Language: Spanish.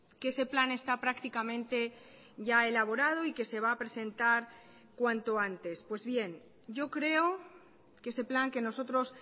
que ese plan está prácticamente ya elaborado y que se va a presentar cuanto antes pues bien yo creo que ese plan que nosotros